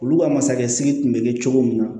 Olu ka masakɛ sidiki bɛ kɛ cogo min na